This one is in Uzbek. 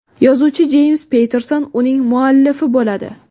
Yozuvchi Jeyms Patterson uning hammuallifi bo‘ladi.